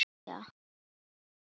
Hjörtur: Og viðræður ganga vel?